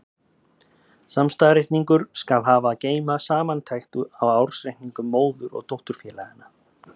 Samstæðureikningur skal hafa að geyma samantekt á ársreikningum móður- og dótturfélaganna.